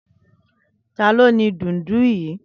Tàló ni dúùndù yi?